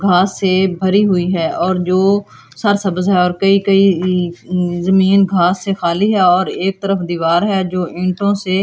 घास से भरी हुई है और जो और कई कई जमीन घास से खाली है और एक तरफ दीवार है जो इंटो से--